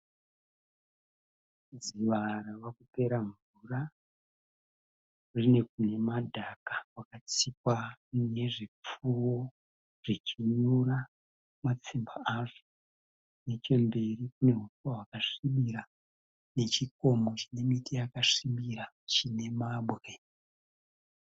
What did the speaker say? Dziva ravakupera mvura. Rine kune madhaka kwakatsikwa nezvipfuwo zvichinyura matsimba azvo, nechemberi kune huswa hwakasvibira nechikomo chinemiti yakasvibira, chine mabwe.